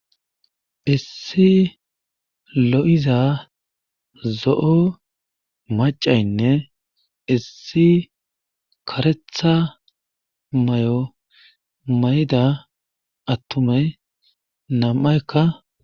Issi lo7iza zo7o maccaynne issi karetha mayo mayida attumay nam7ayka.